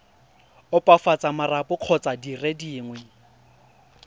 opafatsa marapo kgotsa dire dingwe